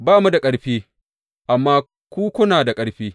Ba mu da ƙarfi, amma ku kuna da ƙarfi!